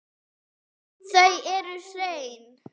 Þau eru hrein.